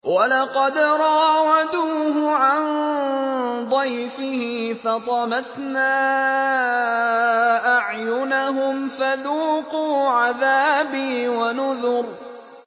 وَلَقَدْ رَاوَدُوهُ عَن ضَيْفِهِ فَطَمَسْنَا أَعْيُنَهُمْ فَذُوقُوا عَذَابِي وَنُذُرِ